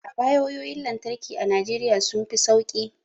A baya wayoyin lantarki a Najeriya sun fi sauki